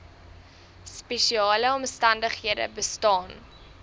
spesiale omstandighede bestaan